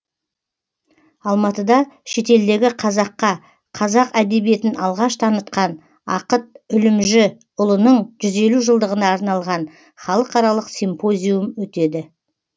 алматыда шетелдегі қазаққа қазақ әдебиетін алғаш танытқан ақыт үлімжіұлының жүз елу жылдығына арналған халықаралық симпозиум өтеді